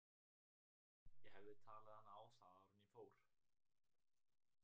Ég hefði talið hana á það áður en ég fór.